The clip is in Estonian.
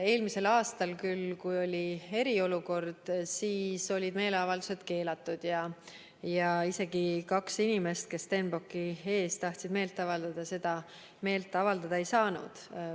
Eelmisel aastal, kui oli eriolukord, olid küll meeleavaldused keelatud ja isegi kaks inimest, kes Stenbocki ees tahtsid meelt avaldada, seda teha ei saanud.